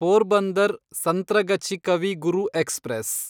Porbandar Santragachi Kavi Guru express